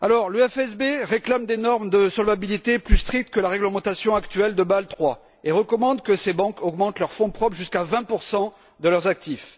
Le FSB réclame des normes de solvabilité plus strictes que la réglementation actuelle de Bâle III et recommande que ces banques augmentent leurs fonds propres jusqu'à 20 de leurs actifs.